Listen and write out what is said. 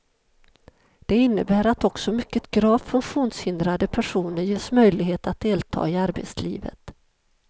Det innebär att också mycket gravt funktionshindrade personer ges möjlighet att delta i arbetslivet.